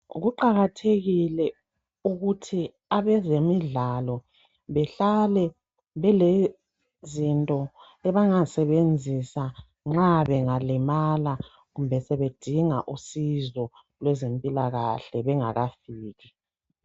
Kuqakathekile ukuthi abezemidlalo behlale belezinto abangazi sebenzisa nxa bengalimala kumbe sebedinga usizo kweze mpilakahle bengakafiki.